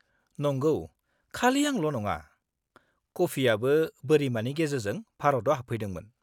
-नंगौ, खालि आंल' नङा, कफियाबो बोरिमानि गेजेरजों भारताव हाबदोंमोन।